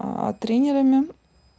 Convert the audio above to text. тренерами